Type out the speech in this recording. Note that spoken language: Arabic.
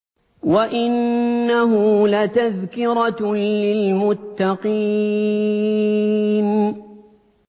وَإِنَّهُ لَتَذْكِرَةٌ لِّلْمُتَّقِينَ